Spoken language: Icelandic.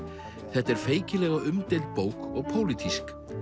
þetta er feikilega umdeild bók og pólitísk